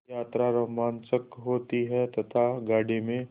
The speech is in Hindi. यात्रा रोमांचक होती है तथा गाड़ी में